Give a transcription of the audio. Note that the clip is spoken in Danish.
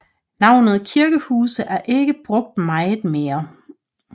Navnet Kirkehuse er ikke brugt meget mere